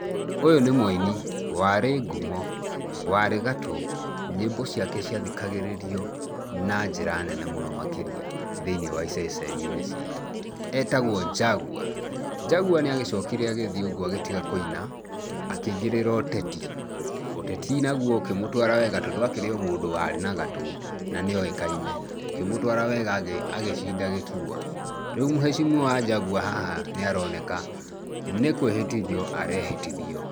Ũyũ nĩ mũini warĩ ngumo, warĩ gatũ. Nyimbo ciake ciathikagĩrĩrio na njĩra nene mũno makĩria thĩiniĩ wa iceceni-inĩ citũ. Etagwo Jaguar. Jaguar nĩagĩcokire agĩthiĩ ũguo agĩtiga kũina, akĩingĩrĩra ũteti. Ũteti naguo ũkĩmũtwara wega tondũ akĩrĩ o mũndũ warĩ na gatũ na nĩ oĩkaine. Ũkĩmũtwara wega agĩcinda gĩturwa. Rĩu mheshimiwa Jaguar haha nĩaroneka nĩ kwĩhĩtithio arehĩtithio.